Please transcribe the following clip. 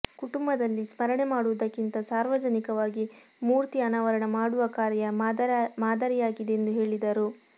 ಕುಟುಂಬದಲ್ಲಿ ಸ್ಮರಣೆ ಮಾಡುವುದಕ್ಕಿಂತ ಸಾರ್ವಜನಿಕವಾಗಿ ಮೂರ್ತಿ ಅನಾವರಣ ಮಾಡುವ ಕಾರ್ಯ ಮಾದರಿಯಾಗಿದೆ ಎಂದು ಹೇಳಿದರು